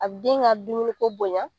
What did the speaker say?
A be den ka dumuni ko bonɲa